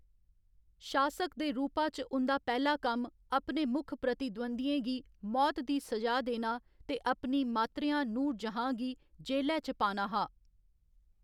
शासक दे रूपा च उं'दा पैह्‌‌ला कम्म अपने मुक्ख प्रतिद्वंद्वियें गी मौत दी सजा देना ते अपनी मात्तरेआं नूरजहां गी जेलै च पाना हा।